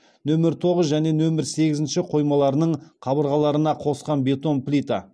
нөмір тоғыз және нөмір сегізінші қоймаларының қабырғаларына қосқан бетон плита